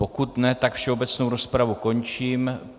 Pokud ne, tak všeobecnou rozpravu končím.